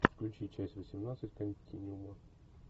включи часть восемнадцать континуума